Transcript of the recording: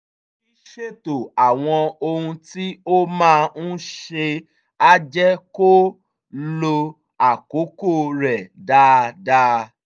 ṣíṣètò àwọn ohun tí o máa ń ṣe á jẹ́ kó o lo àkókò rẹ dáadáa